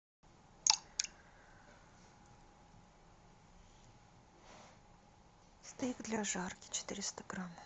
стейк для жарки четыреста грамм